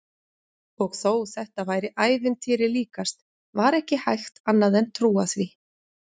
Og þó þetta væri ævintýri líkast var ekki hægt annað en trúa því.